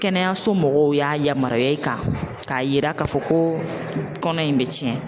Kɛnɛyaso mɔgɔw y'a yamaruya i kan, k'a yira k'a fɔ ko kɔnɔ in bɛ tiɲɛ!